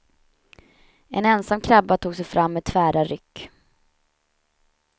En ensam krabba tog sig fram med tvära ryck.